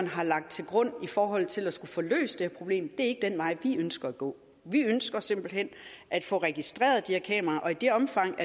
har lagt til grund i forhold til at skulle få løst det her problem det er ikke den vej vi ønsker at gå vi ønsker simpelt hen at få registreret de her kameraer og i det omfang